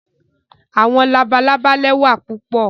Àwọn làbàlábá lẹwà pupọ